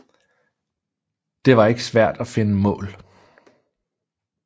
Det var ikke svært at finde mål